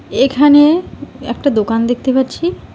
এখানে একটা দোকান দেখতে পাচ্ছি।